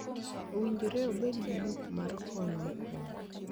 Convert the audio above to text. Owinjore obed gi buk mar kony mokwongo